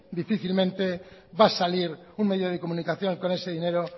difícilmente va a salir un medio de comunicación con ese dinero